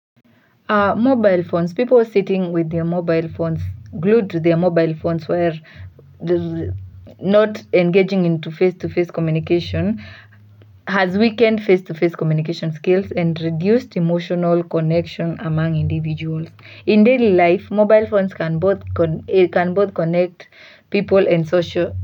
Mobile phones, people sitting with their mobile phones glued to their mobile phones while not engaging in face-to-face communication has weakened face-to-face communication skills and reduced emotional connection among individuals. In daily life, mobile phones can both connect people and social.